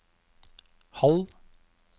halv